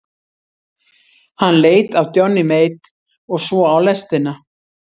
Hann leit af Johnny Mate og svo á lestina.